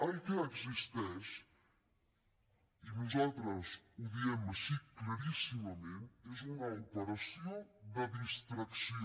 el que existeix i nosaltres ho diem així claríssimament és una operació de distracció